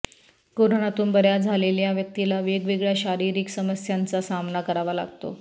कोरोनातून बऱ्या झालेल्या व्यक्तीला वेगवेगळ्या शारीरिक समस्यांचा सामना करावा लागतो